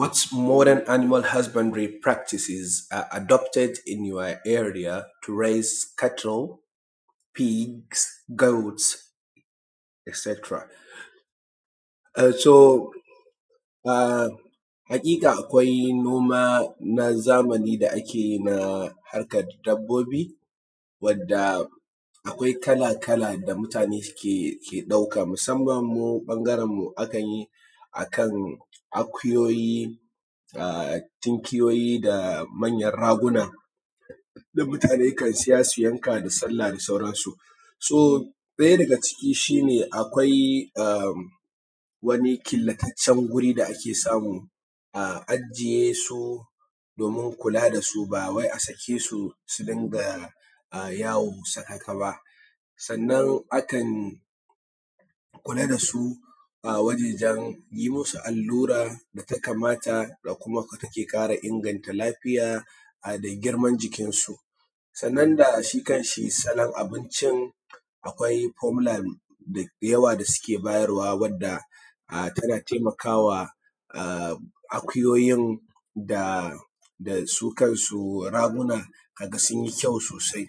What modern animals has been practices are adopted in your area to raise cattle, pigs, goats etc? Haƙiƙa akwai noma na zamani da ake yi na harkar dabbobi wanda akwai kala kala da mutune suke ɗauka musamman mu ɓangaren mu akan yi a kan akuyoyi, tinkiyoyi, da manyan raguna da mutane kan siya su yanka da sallah da sauran su. Ɗaya daga ciki su shi ne akwai a wani killataccen guri da ake samu a ajiye su domin kula da su ba wai a sake su su dinga yawo sakaka ba. Sannan akan kula da su wajan yi musu allura da ta kamata da kuma take ƙara inganta lafiya a girman jikinsu, sannan da kuma shi kan shi salon abincin akwai formular da yawa da suke bayarwa wanda tana taimakawa akuyoyin da su kansu ragunan ka ga sun yi kyau sosai.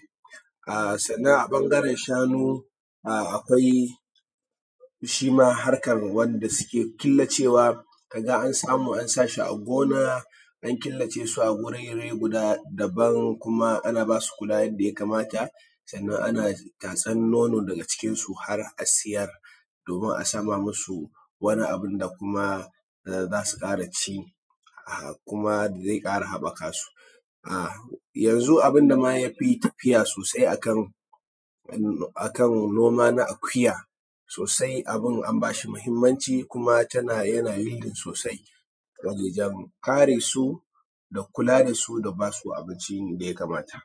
Sannan a ɓangaren shanu akwai shi ma harkan wanda suke killacewa ka ga an samu an sa shi a gona, an killace su a gurere guda kuma ana basu kula yanda ya kamata, sannan ana tatsan nono daga jikin su har a siyar, domin a sama musu wani abun da kuma za su ƙara ci, kuma zai ƙara haɓɓaka su. Yanzu abun da ma yafi tafiya sosai akan noma na akuya sosai abun an ba shi muhimmanci, kuma yana yi sosai wajen kare su da ba su kula da basu abinci da ya kamata.